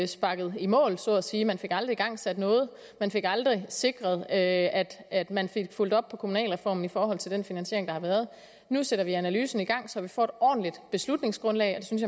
sparket i mål så at sige man fik aldrig igangsat noget og man fik aldrig sikret at at man fik fulgt op på kommunalreformen i forhold til den finansiering der har været nu sætter vi analysen i gang så vi får et ordentligt beslutningsgrundlag og det synes